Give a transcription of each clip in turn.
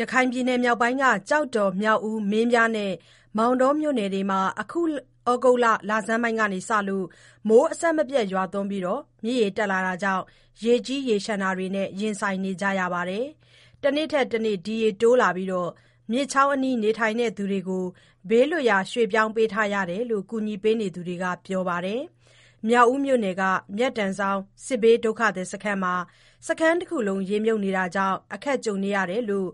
ရခိုင်ပြည်နယ် မြောက်ပိုင်းက ကျောက်တော်၊ မြောက်ဦး၊ မင်းပြားနဲ့ မောင်တော မြို့နယ်တွေမှာ အခုဩဂုတ်လဆန်းပိုင်းကစလို့ မိုးအဆက်မပြတ် ရွာသွန်းပြီး၊ မြစ်ရေ တက်လာတာကြောင့် ရေကြီးရေလျှံတာတွေနဲ့ ရင်ဆိုင်နေရပါတယ်။ တနေ့ထက်တနေ့ ဒီရေတိုးလာပြီး၊ မြစ်ချောင်းအနီး နေထိုင်သူတွေကို ဘေးလွတ်ရာ ရွှေ့ပြောင်းပေးထား ရတယ်လို့ ကူညီနေသူတွေက ပြောပါတယ်။ မြောက်ဦးမြို့နယ်က မြတ်တန်ဆောင်း စစ်ဘေးဒုက္ခသည် စခန်းမှာ စခန်းတခုလုံး ရေမြှုပ်နေတာကြောင့် အခက်ကြုံနေရတယ်လို့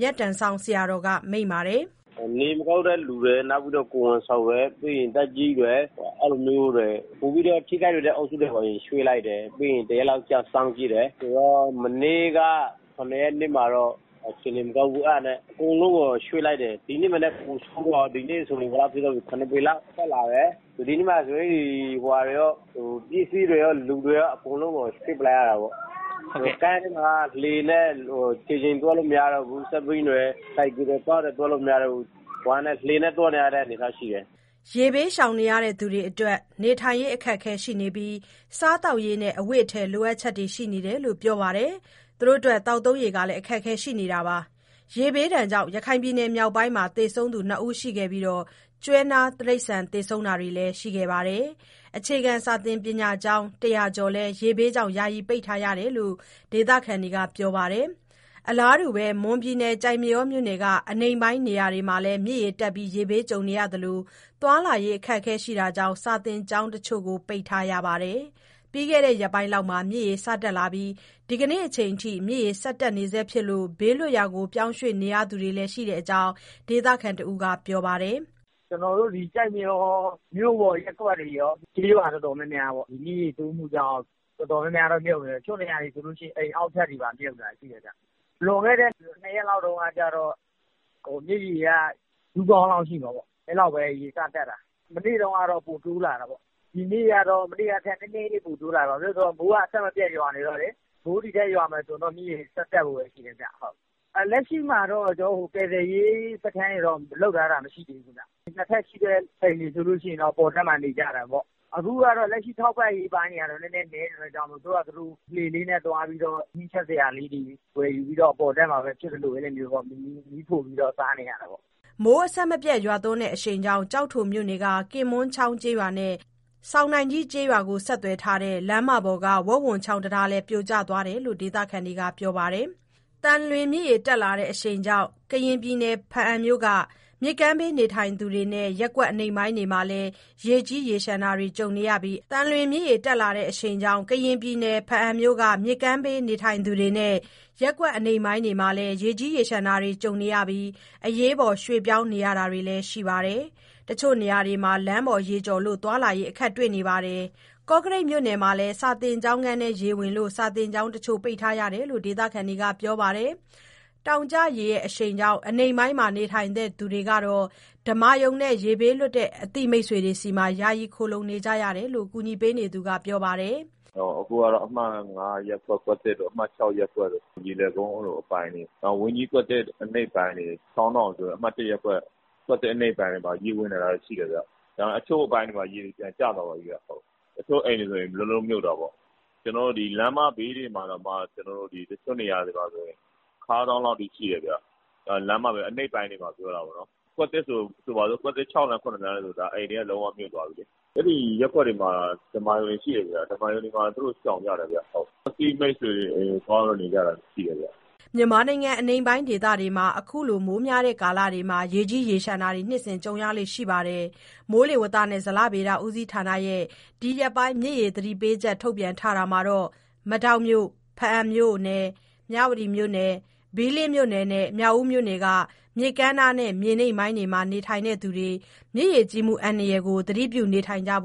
မြတ်တန်ဆောင်း ဆရာတော်က မိန့်ပါတယ်။ "နေမကောင်းတဲ့သူတွေ၊ ကိုယ်ဝန်ဆောင်တွေ၊ ပြီးတော့ သက်ကြီးအရွယ်တွေ၊ ပိုပြီးတော့ ထိခိုက်လွယ်တဲ့ အုပ်စုတွေကို အရင်ရွှေ့လိုက်တယ်။ ပြီးရင် တရက်လောက် စောင့်ကြည့်တယ်။ မနေ့က ၇ ရက်နေ့မှာတော့ အခြေအနေမကောင်းဘူး။ အဲဒါနဲ့ အကုန်လုံးကို ရွှေ့လိုက်တယ်။ ဒီနေ့က ပိုဆိုးလာတယ်၊ ၇ ပေလောက် ရေတက်လာတယ်။ ဒီနေ့မှာ ပစ္စည်းတွေရော၊ လူတွေရော အကုန်လုံးကို ရွှေ့လိုက်ရတာပေါ့။ စခန်းမှာက ခြေလျင်သွားလို့ မရတော့ဘူး။ ကား၊ ဆိုင်ကယ်၊ စက်ဘီးတွေ သွားလို့မရတော့ဘူး။ လှေနဲ့ သွားနေရတဲ့ အနေအထားရှိတယ်။" ရေဘေးရှောင်နေရသူတွေအတွက် နေထိုင်ရေး အခက်အခဲ ရှိနေပြီး၊ စားသောက်ရေးနဲ့ အဝတ်အထည် လိုအပ်ချက်တွေ ရှိနေတယ်လို့ ပြောပါတယ်။ သောက်သုံးရေ အခက်အခဲလည်း ရှိနေတာပါ။ ရေဘေးကြောင့် ရခိုင်ပြည်နယ် မြောက်ပိုင်းမှာ သေဆုံးသူ ၂ ဦး ရှိခဲ့ပြီး၊ ကျွဲ၊ နွား တိရစ္ဆာန် သေဆုံးတာတွေလည်း ရှိပါတယ်။ အခြေခံပညာကျောင်း ၁၀၀ ကျော်ကိုလည်း ရေဘေးကြောင့် ယာယီ ပိတ်ထားရတယ်လို့ ဒေသခံတွေက ပြောပါတယ်။ အလားတူ မွန်ပြည်နယ်၊ ကျိုက်မရောမြို့နယ်က အနိမ့်ပိုင်း နေရာတွေမှာလည်း မြစ်ရေတက်ပြီး ရေဘေးကြုံနေရသလို၊ သွားလာရေး အခက်အခဲကြောင့် စာသင်ကျောင်းတချို့ကို ပိတ်ထားရပါတယ်။ ပြီးခဲ့တဲ့ ရက်ပိုင်းလောက်မှာ မြစ်ရေ စတက်လာပြီး ဒီနေ့အချိန်အထိ မြစ်ရေ တက်နေဆဲဖြစ်လို့ ဘေးလွတ်ရာ ပြောင်းရွှေ့ နေရသူတွေလည်း ရှိတဲ့အကြောင်း ဒေသခံတဦးက ပြောပါတယ်။ "ကျိုက်မရော မြို့ပေါ် ရပ်ကွက်တွေရော၊ ကျေးရွာတွေရော မြစ်ရေတိုးမှုကြောင့် တော်တော်များများတော့ မြုပ်နေတယ်။ တချို့နေရာတွေဆို အိမ်အောက်ထပ်တွေပါ မြုပ်တာရှိတယ်။ လွန်ခဲ့တဲ့ ၂ ရက်လောက်တုန်းက မြစ်ရေက ဒူးခေါင်းလောက်ရှိတယ်။ အဲ့လောက်ပဲ ရေစတက်တာ။ မနေ့တုန်းကတော့ ပိုတိုးလာတာပေါ့။ ဒီနေ့ကတော့ မနေ့ကထက် နည်းနည်းလေး ပိုတိုးလာတယ်။ ဘာဖြစ်လို့လဲဆို မိုးအဆက်မပြတ် ရွာနေတော့လေ။ မိုးထပ်ရွာမယ်ဆို မြစ်ရေ ဒီထက်ထပ်တိုးဖို့ပဲ ရှိမယ်ဗျ။ လက်ရှိမှာတော့ ကယ်ဆယ်ရေး စခန်းရယ်လို့ လုပ်ထားတာ မရှိဘူးဗျ။ ၂ ထပ်ရှိတဲ့ အိမ်ဆိုရင်တော့ အပေါ်ထပ်မှာ နေကြတာပေါ့။ အခုက ထောက်ပံ့ရေးပိုင်းတွေလည်း နည်းနေတော့ သူတို့ဟာသူတို့ လှေနဲ့သွားပြီး ဟင်းချက်စရာ ဝယ်ယူပြီးတော့ အပေါ်ထပ်မှာပဲ ဖြစ်သလိုပဲ မီးဖိုပြီးတော့ စားနေရတာပေါ့။" မိုးအဆက်မပြတ် ရွာသွန်းတဲ့ အရှိန်ကြောင့် ကျိုက်ထိုမြို့နယ်က ကင်မွန်းချောင်းကျေးရွာနဲ့ ဆောင်နိုင်ကြီးကျေးရွာကို ဆက်သွယ်ထားတဲ့ လမ်းမပေါ်က ဝက်ဝံချောင်းတံတားလည်း ပြိုကျသွားတယ်လို့ ဒေသခံတွေက ပြောပါတယ်။ သံလွင်မြစ်ရေ တက်လာတဲ့အရှိန်ကြောင့် ကရင်ပြည်နယ်၊ ဘားအံမြို့က မြစ်ကမ်းဘေး နေထိုင်သူတွေနဲ့ ရပ်ကွက်အနိမ့် ပိုင်းတွေမှာလည်း ရေကြီး ရေလျှံတာတွေ ကြုံနေရပြီး အရေးပေါ် ရွှေ့ပြောင်းနေရတာလည်း ရှိပါတယ်။ တချို့နေရာတွေမှာ လမ်းပေါ်ရေကျော်လို့ သွားလာရေး အခက်တွေ့နေပါတယ်။ ကော့ကရိတ် မြို့နယ်မှာလည်း စာသင်ကျောင်းခန်းထဲ ရေဝင်လို့ စာသင်ကျောင်းတချို့ ပိတ်ထားရတယ်လို့ ဒေသခံတွေက ပြောပါတယ်။ တောင်ကျရေ ညအရှိန်ကြောင့် အနိမ့်ပိုင်းမှာ နေထိုင်သူတွေကတော့ ဓမ္မာရုံနဲ့ ရေဘေးလွတ်တဲ့ အသိမိတ်ဆွေတွေဆီ ယာယီ ခိုလှုံနေရတယ်လို့ ကူညီပေးနေသူ တဦးက ပြောပါတယ်။ "အခုကတော့ အမှတ် ၅ ရပ်ကွက်တို့၊ အမှတ် ၆ ရပ်ကွက်တို့၊ ရေလယ်ကုန်း အဲလိုအပိုင်းတွေပေါ့။ နောက် ဝန်ကြီးကွက်သစ် အနိမ့်ပိုင်းတွေ၊ တောနော် အမှတ် ၁ ရပ်ကွက် ကွက်သစ်အနိမ့်ပိုင်းတွေမှာ ရေဝင်တာရှိတယ်ဗျ။ တချို့အပိုင်းတွေမှာ ရေတွေပြန်ကျသွားပြီ။ တချို့အိမ်တွေဆို လုံးလုံးမြှုပ်တာပေါ့။ ဒီလမ်းမဘေး တချို့နေရာတွေမှာဆို အနိမ့်ပိုင်းတွေမှာ ခါးစောင်းလောက်ထိ ရှိတယ်ဗျ။ ကွက်သစ် ၆ လမ်း၊ ၇ လမ်းတွေဆို အိမ်တွေက လုံးဝမြုပ်သွားပြီလေ။ ရေမြုပ်တဲ့ ရပ်ကွက်တွေမှာက ဓမ္မာရုံတွေ ရှိတယ်ဗျ။ ဓမ္မာရုံတွေမှာ သူတို့ရှောင်နေကြတယ်။ တချို့ကလည်း အသိမိတ်ဆွေ အိမ်တွေမှာ သွားနေကြတာ ရှိတယ်ဗျ။" မြန်မာနိုင်ငံ အနိမ့်ပိုင်းဒေသတွေမှာ ခုလို မိုးများတဲ့ ကာလတွေမှာ ရေကြီးရေလျှံတာတွေ နှစ်စဉ်ကြုံရလေ့ ရှိပါတယ်။ မိုးဇလဌာနက ဒီရက်ပိုင်း မြစ်ရေသတိပေးချက် ထုတ်ပြန်ထားတာမှာတော့ မဒေါက်မြို့၊ ဘားအံမြို့နယ်၊ မြဝတီမြို့နယ်၊ ဘီးလင်းမြို့နယ်နဲ့ မြောက်ဦးမြို့နယ်က မြစ်ကမ်းနားနဲ့ မြေနိမ့်ပိုင်းမှာ နေထိုင်သူတွေ မြစ်ရေကြီးမှု သတိပြုနေထိုင်ဖို့